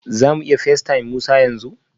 Za mu iya facetime Musa yanzu?